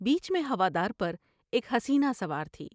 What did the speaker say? بیچ میں ہوا دار پر ایک حسینہ سوار تھی ۔